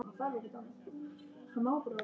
Mamma var svo margt.